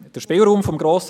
Der Spielraum des Grossen